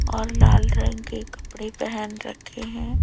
और लाल रंग के कपड़े पहन रखे हैं।